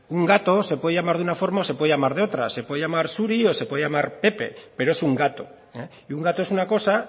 un gato se puede llamar de una forma o se puede llamar de otra se puede llamar zuri o se puede llamar pepe pero es un gato y un gato es una cosa